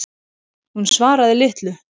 Hún svaraði litlu.